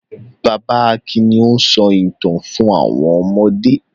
Bàbá Akin ni ó ń sọ ìtàn fún àwọn ọmọdé.